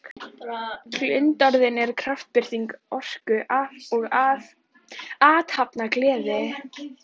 Glundroðinn er kraftbirting orku og athafnagleði.